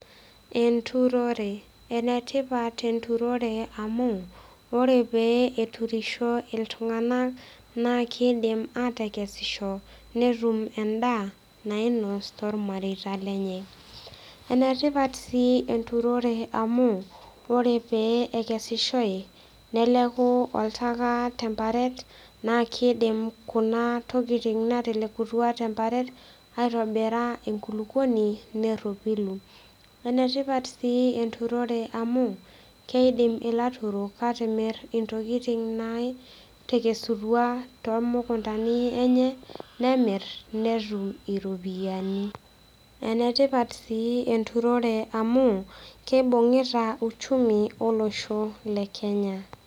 Enturore . Enetipat enturore amu ore pee eturisho iltunganak naa kidim anotito endaa nainos toormareita lenye . Enetipat sii enturore amu ore pee ekesishoy , neleku oltaka temparet naa kidim kuna tokitin natelekutua temparet aitobira enkulukuoni neropilu . Enetipat sii enturore amu keidim ilaturok atimir ntokitin naikesutua toomukuntani enye , nemir netum iropiyiani . Enetipat sii enturore amu kibungita uchumi olosho lekenya.